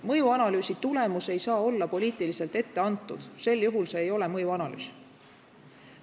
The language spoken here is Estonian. Mõjuanalüüsi tulemus ei tohi olla poliitiliselt ette antud, sel juhul see ei ole mõjuanalüüs.